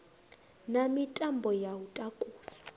na mitambo ya u takusa